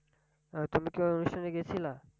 আহ তুমি কি ওই অনুষ্ঠানে গেছিলা?